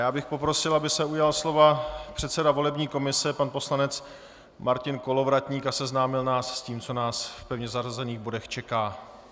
Já bych poprosil, aby se ujal slova předseda volební komise, pan poslanec Martin Kolovratník a seznámil nás s tím, co nás v pevně zařazených bodech čeká.